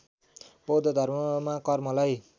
बौद्ध धर्ममा कर्मलाई